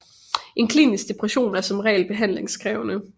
En klinisk depression er som regel behandlingskrævende